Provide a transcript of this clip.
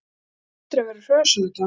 Þeim hlýtur að vera hrösunargjarnt!